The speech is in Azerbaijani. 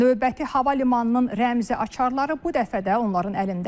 Növbəti hava limanının rəmzi açarları bu dəfə də onların əlindədir.